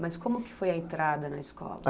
Mas como que foi a entrada na escola?